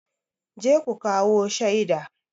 Je ku kawo shaida!